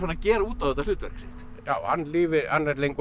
gera út á þetta hlutverk sitt já hann er lengur